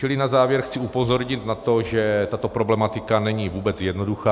Čili na závěr chci upozornit na to, že tato problematika není vůbec jednoduchá.